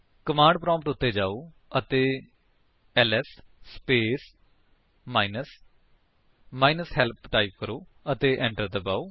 command prompt ਉੱਤੇ ਜਾਓ ਅਤੇ LS space minus minus help type ਕਰੋ ਅਤੇ enter ਦਬਾਓ